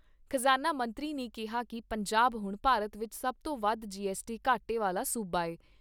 ਖਜਾਨਾ ਮੰਤਰੀ ਨੇ ਕਿਹਾ ਕਿ ਪੰਜਾਬ ਹੁਣ ਭਾਰਤ ਵਿਚ ਸਭ ਤੋਂ ਵੱਧ ਜੀ ਐੱਸਟੀ ਘਾਟੇ ਵਾਲਾ ਸੂਬਾ ਐ।